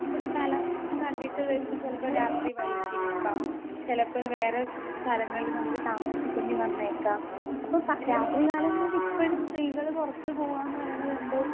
Speaker 2 ഒരു സ്ഥലം കണ്ടിട്ട് വരുമ്പം ചെലപ്പൊ രാത്രി വൈകിയേക്കാം ചെലപ്പൊരു വേറെ സ് സ്ഥലങ്ങളില് നമുക്ക് താമസിക്കണ്ടി വന്നേക്കാം അപ്പൊ പ രാത്രി കാലങ്ങളിലിപ്പഴും സ്ത്രീകള് പൊറത്ത് പോകാന്ന് പറയണതെന്തോ.